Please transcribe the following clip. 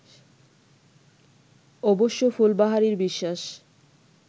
অবশ্য ফুলবাহারির বিশ্বাস